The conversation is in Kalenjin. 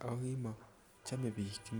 ako kimochome biik .